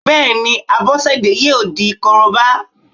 Bẹ́ẹ̀ni, Abọ́sẹ̀dé yóò di Korobá